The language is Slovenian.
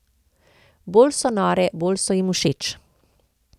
Bolj so nore, bolj so jim všeč.